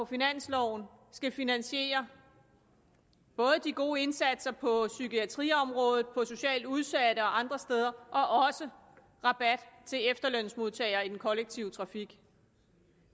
finansloven skal finansiere både de gode indsatser på psykiatriområdet indsatser socialt udsatte og andre steder og også rabat til efterlønsmodtagere i den kollektive trafik